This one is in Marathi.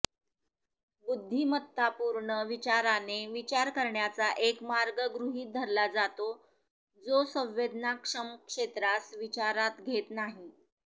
बुद्धिमत्तापूर्ण विचाराने विचार करण्याचा एक मार्ग गृहित धरला जातो जो संवेदनाक्षम क्षेत्रास विचारात घेत नाही